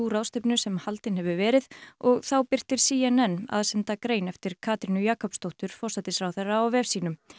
ráðstefnu sem haldin hefur verið og þá birtir c n n aðsenda grein eftir Katrínu Jakobsdóttur forsætisráðherra á vef sínum